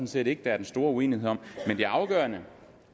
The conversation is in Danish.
set ikke der er den store uenighed om men det afgørende